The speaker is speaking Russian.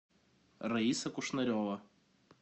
раиса кушнарева